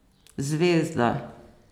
Zvezda!